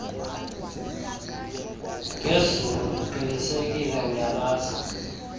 ngezulu ndiqinisekile uyalazi